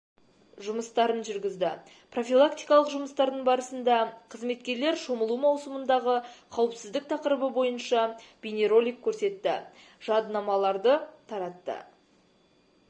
жұмыстарын жүргізді профилактикалық жұмыстардың барысында қызметкерлер шомылу маусымындағы қауіпсіздік тақырыбы бойынша бейнеролик көрсетті жадынамаларды таратты